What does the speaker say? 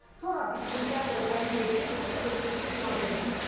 Sonra bizimkilər özləri deyir ki, burdıq evin üstün yandırdıq.